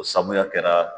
O sabuya kɛra